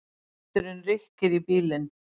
Vindurinn rykkir í bílinn.